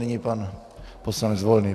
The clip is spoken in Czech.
Nyní pan poslanec Volný.